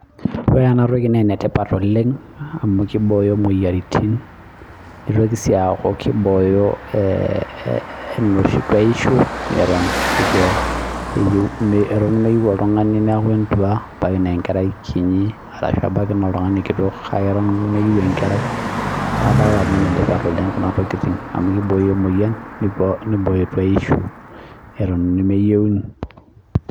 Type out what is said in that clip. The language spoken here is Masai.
Ore enabae naa enetipat oleng amuu keibooyo imoyiaritin neitoki sii asku keibooyo enoshi tuaisho eton eeeh meyieu oltungani neaku entua, ebaiki na oltungani kinyi, ebaiki naa oltungani kitok, kake eton meyieu enkerai. Niaku enetipat oleng amuu keibooyo imoyiaritin neibooyo tuaisho eton nemeyieuni